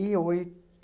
e